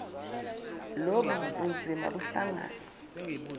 lobu bunzima buhlangane